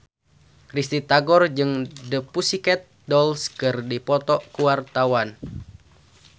Risty Tagor jeung The Pussycat Dolls keur dipoto ku wartawan